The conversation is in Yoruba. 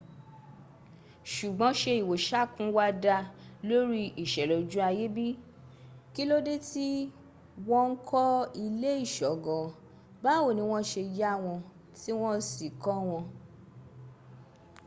ṣùgbọ́n ṣé ìwoṣàkun wa dá lórí ìṣẹ̀lẹ̀ ojú ayé bi? kí ló dé tí wọ́n ń kọ ilé ìṣọ́ gan an? báwo ni wọ́n ṣe yà wọ́n tí wọ́ sì kọ́ wọn?